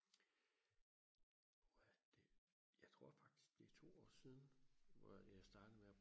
er det jeg tror faktisk det er to år siden hvor jeg startede med og